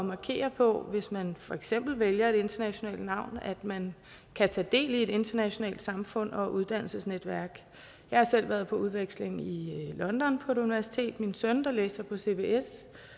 markere på hvis man for eksempel vælger et internationalt navn at man kan tage del i et internationalt samfund og uddannelsesnetværk jeg har selv været på udveksling i i london på et universitet min søn der læser på cbs